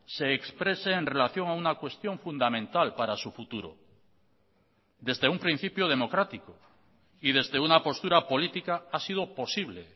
se exprese en relación a una cuestión fundamental para su futuro desde un principio democrático y desde una postura política ha sido posible